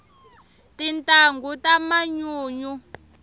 tintangu ta manyunyu